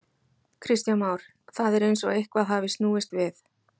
Kristján Már: Það er eins og eitthvað hafi snúist við?